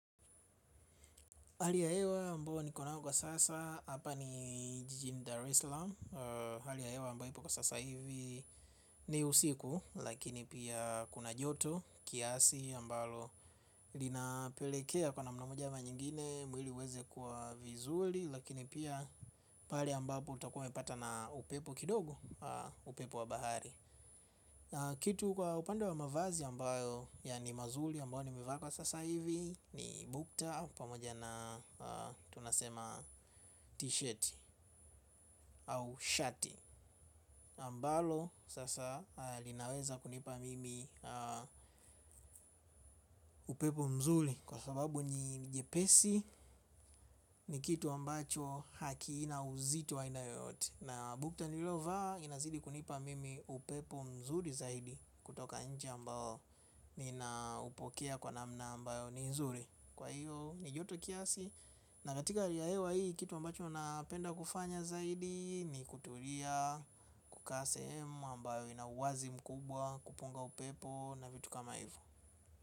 Hali ya hewa ambayo niko nayo kwa sasa, hapa ni Jijini Daresalam. Hali ya hewa ambayo ipo kwa sasa hivi ni usiku. Lakini pia kuna joto, kiasi ambalo linapelekea kwa namna moja ama nyingine mwili uweze kwa vizuri, lakini pia pale ambapo utakuwa umepata na upepo kidogo. Upepo wa bahari na kitu kwa upande wa mavazi ambayo, ya ni mazuri ambayo nimevaa kwa sasa hivi. Ni bukta pamoja na tunasema t-shirt au shati ambalo sasa linaweza kunipa mimi upepo mzuri. Kwa sababu ni jepesi ni kitu ambacho hakina uzito wa aina yoyote. Na bukta nililovaa inazidi kunipa mimi upepo mzuri zaidi. Kutoka nje ambao ninaupokea kwa namna ambayo ni nzuri. Kwa hiyo ni joto kiasi. Na katika hali ya hewa hii kitu ambacho napenda kufanya zaidi ni kutulia, kukaa sehemu ambayo ina uwazi mkubwa, kupunga upepo na vitu kama hivo.